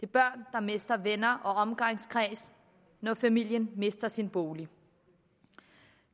børn der mister venner og omgangskreds når familien mister sin bolig